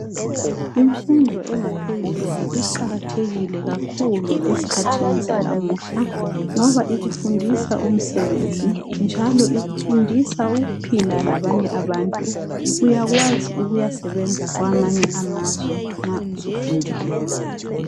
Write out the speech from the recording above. Imfundo engaphezulu iqakathekile kakhulu ezikhathini zanamuhla, ngoba ikufundisa umsebenzi njalo ikufundisa ukuphila labanye abantu. Uyakwazi ukuyasebenza kwamye amazwe nxa usufundile.